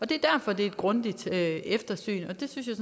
det er derfor det er et grundigt eftersyn og det synes jeg